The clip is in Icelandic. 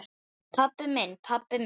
Pabbi minn, pabbi minn!